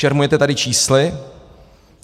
Šermujete tady čísly.